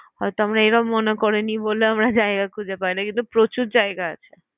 হয়তো আমরা এরকম মনে করিনি বলে আমরা জায়গা খুঁজে পাইনা কিন্তু প্রচুর জায়গা আছে।